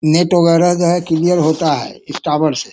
Net वगैरा जो है क्लियर होता है इस टावर से।